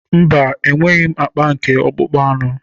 Mba, enweghị akpa nke akpụkpọ anụ